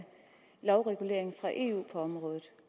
lovregulering fra eu på området